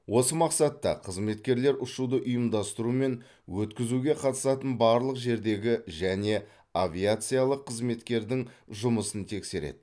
осы мақсатта қызметкерлер ұшуды ұйымдастыру мен өткізуге қатысатын барлық жердегі және авиациялық қызметкердің жұмысын тексереді